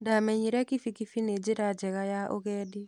Ndamenyire kibikibi nĩ njĩra njega ya ũgendi.